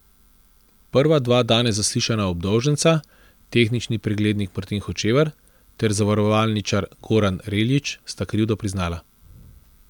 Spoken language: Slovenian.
Prva dva danes zaslišana obdolženca, tehnični preglednik Martin Hočevar ter zavarovalničar Goran Reljić, sta krivdo priznala.